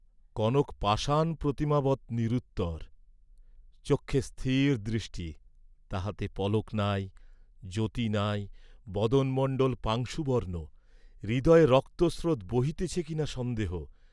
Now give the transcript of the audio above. কনক পাষাণ প্রতিমাবৎ নিরুত্তর; চক্ষে স্থির দৃষ্টি, তাহাতে পলক নাই, জ্যোতি নাই, বদনমণ্ডল পাংশুবর্ণ, হৃদয়ে রক্ত স্রোত বহিতেছে কি না সন্দেহ।